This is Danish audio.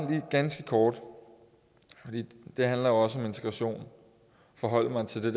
gerne ganske kort og det handler også om integration forholde mig til det